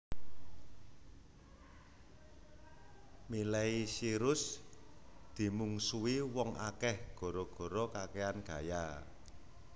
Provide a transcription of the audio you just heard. Miley Cyrus dimungsuhi wong akeh gara gara kakean gaya